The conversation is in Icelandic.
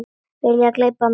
Vilja gleypa mig.